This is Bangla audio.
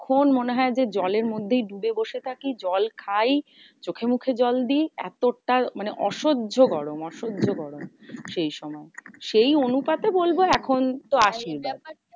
ক্ষণ মনে হয় যে, জলের মধ্যেই ডুবে বসে থাকি। জল খাই চোখে মুখে জল দি। এতটা মানে অসহ্য গরম অসহ্য গরম। সেই সময় সেই অনুতাপে বলবো এখন তো আসেই না।